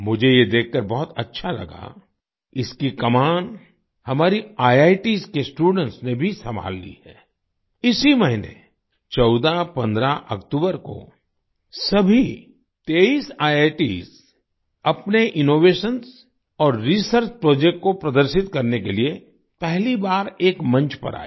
मुझे ये देखकर बहुत अच्छा लगा इसकी कमान हमारी आईआईटीएस के स्टूडेंट्स ने भी संभाल ली है आई इसी महीने 1415 अक्टूबर को सभी 23 आईआईटीएस अपने इनोवेशंस और रिसर्च प्रोजेक्ट को प्रदर्शित करने के लिए पहली बार एक मंच पर आए